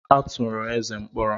A tụrụ Eze mkpọrọ.